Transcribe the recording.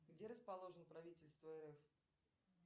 где расположено правительство рф